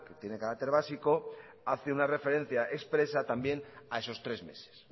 tiene carácter básico hace una referencia expresa también a esos tres meses